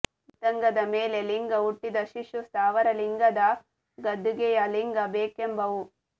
ಮತ್ತಂಗದ ಮೇಲೆ ಲಿಂಗ ಹುಟ್ಟಿದ ಶಿಶು ಸ್ಥಾವರಲಿಂಗದ ಗದ್ದುಗೆಯ ಲಿಂಗ ಬೇಕೆಂಬವು